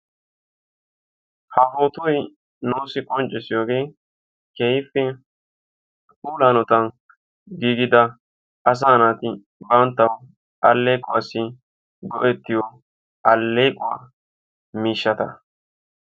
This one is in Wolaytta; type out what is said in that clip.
Ha pootoy nuussi qonccissiyogee keehippe puula hanotan gigida asaa naati banttawu aleequwassi go'ettiyo alleequwa miishshata.